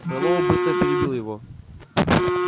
мэллоу быстро перебил его